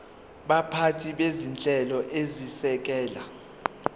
baphathi bezinhlelo ezisekela